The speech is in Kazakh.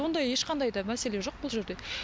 ондай ешқандай да мәселе жоқ бұл жерде